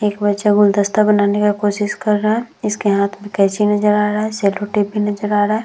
एक बच्चा गुलदस्ता बनाने का कोसिस कर रहा है। इसके हाथ मै केचि नजर आ रहा है सेलोटेप भी नजर आ रहा है।